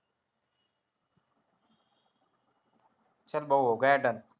चल भाऊ done